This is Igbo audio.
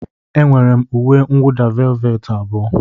Enwere m uwe mwụda velveti abụọ.